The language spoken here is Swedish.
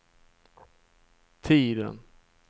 tiden